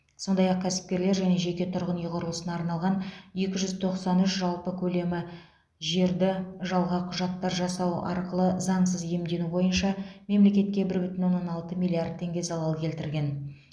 сондай ақ кәсіпкерлер және жеке тұрғын үй құрылысына арналған екі жүз тоқсан үш жалпы көлемі жерді жалған құжаттар жасау арқылы заңсыз иемдену бойынша мемлекетке бір бүтін оннан алты миллиард теңге залал келтірген